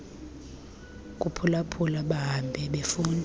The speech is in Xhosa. kuphulaphula bahambe befunda